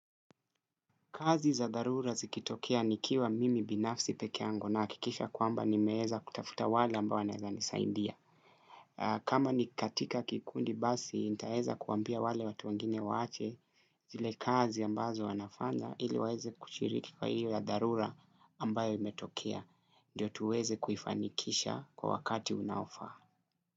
Kazi za darura zikitokea nikiwa mimi binafsi peke yangu na akikisha kwamba ni meheza kutafuta wale ambayo naezanisaindia. Kama ni katika kikundi basi, nitaheza kuambia wale watu wengine waache zile kazi ambazo wanafanya ili waeze kushiriki kwa hiyo ya darura ambayo imetokea. Ndiyo tuweze kufanikisha kwa wakati unaofaa.